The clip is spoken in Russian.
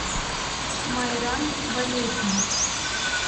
майран валерьевич